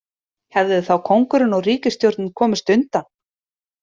Hefðu þá kóngurinn og ríkisstjórnin komist undan?